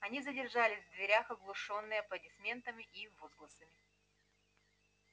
они задержались в дверях оглушённые аплодисментами и возгласами